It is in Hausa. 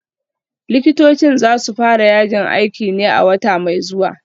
Likitocin dai za su fara yajin aikin ne a wata mai zuwa